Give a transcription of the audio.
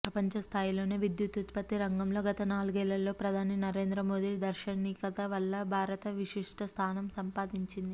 ప్రపంచ స్థాయిలోనే విద్యుదుత్పత్తి రంగంలో గత నాలుగేళ్లలో ప్రధాని నరేంద్ర మోదీ దార్శనికత వల్ల భారత్ విశిష్ఠ స్థానం సంపాదించింది